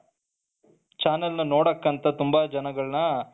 channel ನ್ನು ನೋಡೋಕೆ ಅಂತ ತುಂಬಾ ಜನಗಳನ